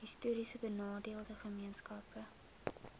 histories benadeelde gemeenskappe